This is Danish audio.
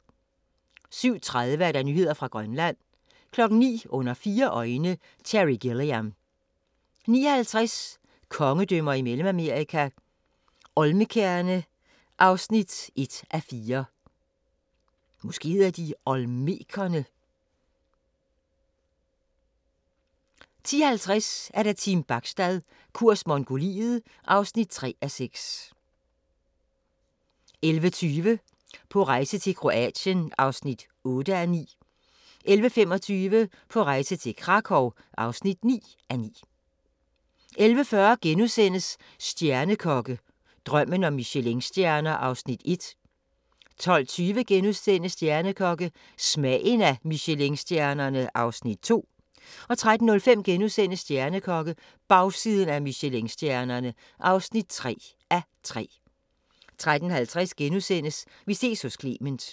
07:30: Nyheder fra Grønland 09:00: Under fire øjne – Terry Gilliam 09:50: Kongedømmer i Mellemamerika – Olmekerne (1:4) 10:50: Team Bachstad – kurs Mongoliet (3:6) 11:20: På rejse til: Kroatien (8:9) 11:25: På rejse til: Krakow (9:9) 11:40: Stjernekokke – Drømmen om Michelinstjerner (1:3)* 12:20: Stjernekokke – Smagen af Michelinstjernerne (2:3)* 13:05: Stjernekokke - bagsiden af Michelinstjernerne (3:3)* 13:50: Vi ses hos Clement *